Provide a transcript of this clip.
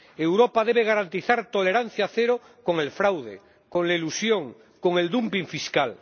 Europa debe garantizar tolerancia cero con el fraude, con la elusión, con el dumping fiscal...